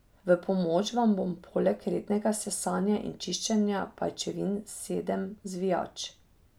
V pomoč vam bo poleg rednega sesanja in čiščenja pajčevin sedem zvijač.